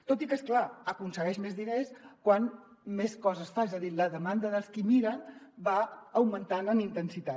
tot i que és clar aconsegueix més diners com més coses fa és a dir la demanda dels qui miren va augmentant en intensitat